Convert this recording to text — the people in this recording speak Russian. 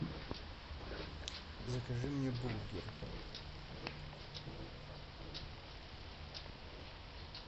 закажи мне бургер